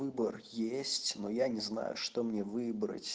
выбор есть но я не знаю что мне выбрать